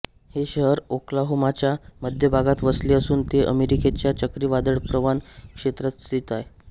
हे शहर ओक्लाहोमाच्या मध्य भागात वसले असून ते अमेरिकेच्या चक्रीवादळप्रवण क्षेत्रात स्थित आहे